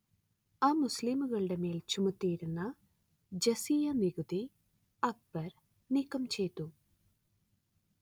അമുസ്ലീങ്ങളുടെ മേൽ ചുമത്തിയിരുന്ന ജസിയ നികുതി അക്ബർ നീക്കംചെയ്തു